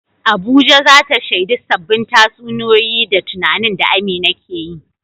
Abuja za ta shaidi sabbin tatsuniyoyi da tunanin da Amina ke yi.